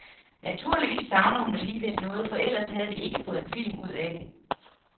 Naturligvis savner hun alligevel noget, for ellers havde vi ikke fået en film ud af det.